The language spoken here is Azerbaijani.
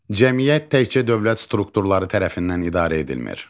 Cəmiyyət təkcə dövlət strukturları tərəfindən idarə edilmir.